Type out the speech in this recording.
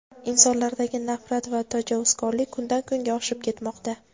Insonlardagi nafrat va tajovuzkorlik kundan-kunga oshib ketmoqda;.